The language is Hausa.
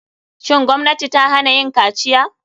Shin gwamnati ta hana yin kaciya?